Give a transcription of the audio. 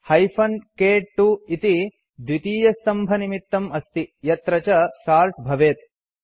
hyphen क्2 इति द्वितीयस्तम्भनिमित्तम् अस्ति यत्र च सोर्ट् भवेत्